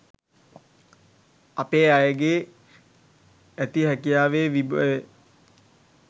අපේ අයගේ ඇති හැකියාවේ විභවය